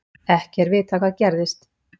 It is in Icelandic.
Ekki er vitað hvað gerðis.